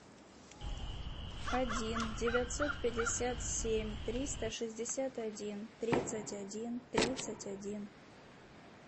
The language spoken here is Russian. один девятьсот пятьдесят семь триста шестьдесят один тридцать один тридцать один